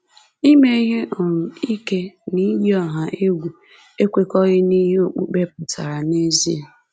“Ime ihe um ike na iyi ọha egwu ekwekọghị n’ihe okpukpe pụtara n’ezie.”